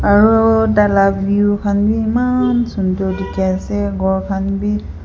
aro tai lah view khan be eman sundar dikhi ase ghor khan be.